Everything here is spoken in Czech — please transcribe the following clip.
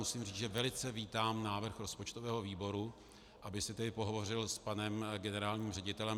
Musím říct, že velice vítám návrh rozpočtového výboru, abych si tedy pohovořil s panem generálním ředitelem.